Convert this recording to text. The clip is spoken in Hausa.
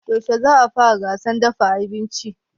Yaushe za a fara gasar dafa abinci?